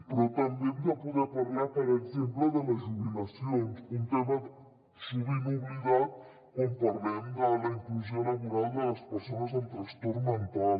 però també hem de poder parlar per exemple de les jubilacions un tema sovint oblidat quan parlem de la inclusió laboral de les persones amb trastorn mental